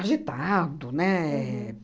agitado, né?